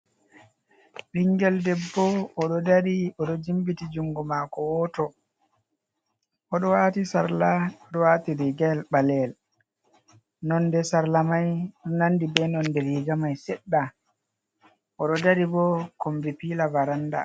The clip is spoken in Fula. Ɓingel debbo oɗo dari oɗo jimbiti juungo maako wooto, oɗo waati sarla oɗo wato riigayel ɓaleyel, nonde sarla mai nandi be nonde riiga mai seɗɗa, oɗo daari bo kombi piila varanda.